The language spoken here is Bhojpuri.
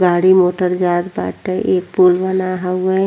गाड़ी मोटर जात बाटे। ई पुल बना हऊवे।